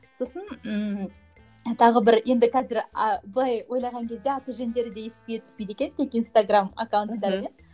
сосын ііі тағы бір енді қазір а былай ойлаған кезде аты жөндері де есіңе түспейді екен тек инстаграмм аккаунттарымен